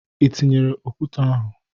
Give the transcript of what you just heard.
Ị tinyere okwute ahụ?